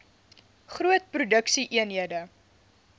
groot produksie eenhede